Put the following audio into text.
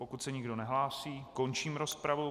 Pokud se nikdo nehlásí, končím rozpravu.